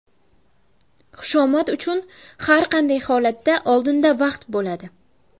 Xushomad uchun har qanday holatda oldinda vaqt bo‘ladi.